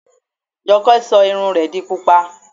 Jọkẹ́ sọ irun rẹ di Pupa.